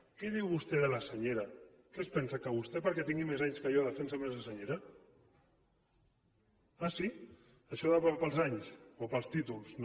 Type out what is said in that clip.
què diu vostè de la senyera què és pensa que vostè perquè tingui més anys que jo defensa més la senyera ah sí això va pels anys o pels títols no